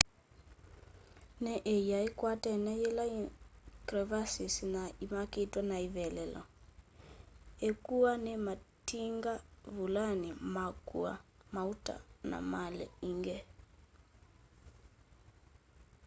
ni ia ikwatene yina crevasses na imakitwe ni ivevelo ikuwa ni matinga vulani makua mauta na mali ingi